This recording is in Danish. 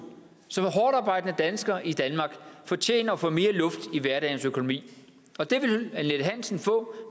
som er hårdtarbejdende danskere i danmark fortjener at få mere luft i hverdagens økonomi og det vil annette hansen få